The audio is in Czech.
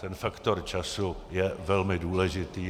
Ten faktor času je velmi důležitý.